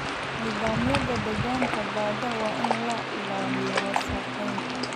Nidaamyada deegaanka badda waa in laga ilaaliyo wasakheynta.